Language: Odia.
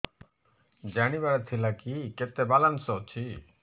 ଜାଣିବାର ଥିଲା କି କେତେ ବାଲାନ୍ସ ଅଛି